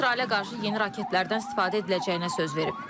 O, İsrailə qarşı yeni raketlərdən istifadə ediləcəyinə söz verib.